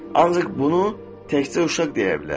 Ancaq bunu təkcə uşaq deyə bilər.